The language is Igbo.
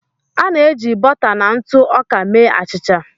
A na-eji bọta na ntụ ọka mee achịcha.